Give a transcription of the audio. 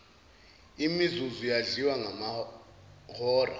imizuzu yadliwa ngamahora